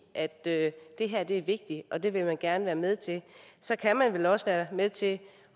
at det her er vigtigt og at det vil man gerne være med til så kan man vel også være med til